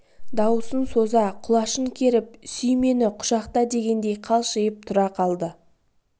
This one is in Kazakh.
дауысын соза құлашын керіп сүй мені құшақта дегендей қалшиып тұра қалды